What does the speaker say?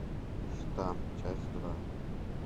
штамп часть два